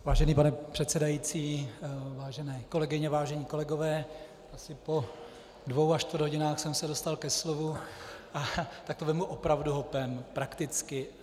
Vážený pane předsedající, vážené kolegyně, vážení kolegové, asi po dvou a čtvrt hodině jsem se dostal ke slovu, a tak to vezmu opravdu hopem, prakticky.